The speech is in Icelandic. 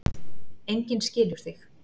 Enginn skilur þig.